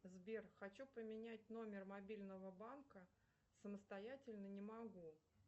сбер хочу поменять номер мобильного банка самостоятельно не могу